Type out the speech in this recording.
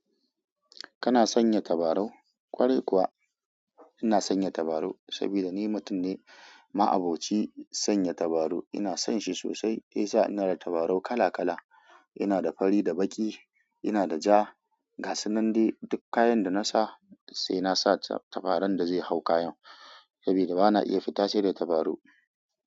Kana sanya tabarau? Kwarai kuwa ina sanya tabarau saboda ni mutum ne ma'aboci sanya tabaru. Ina son shi sosai. Shi ya sa ina da tabarau kala kala. Ina da fari da baki, ina da ja, gasunan dai duk kayan da na sa sai na sa tabaron da zai hau kayan saboda ba na iya fita sai da tabarau.